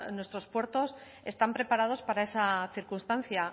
nuestros puertos están preparados para esa circunstancia